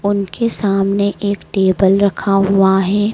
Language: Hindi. उनके सामने एक टेबल रखा हुआ है।